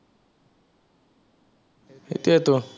সেইটোৱেটো